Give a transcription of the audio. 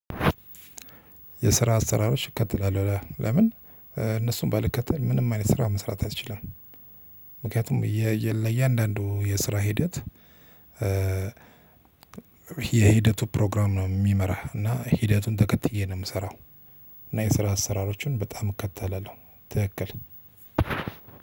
የስራ አሰራሮች እከትላለሁ ለምን እነሱን ባልከተል ምንም አይነት ስራ መስራት አይችልም። ምክንያቱም የእያንዳንዱ የስራ ሂደት የሂደቱ ፕሮግራም ነው የሚመራህ እና ሂደቱን ተከትዬ ነው የምሰራው። እና የስራ አሰራሮችን በጣም እከተላለሁ። ትክክል